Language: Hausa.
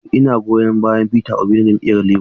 Eh ina goyon bayan Peter Obi na jam'iyyar Labour.